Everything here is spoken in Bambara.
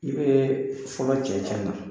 I be fɔlɔ cɛncɛn na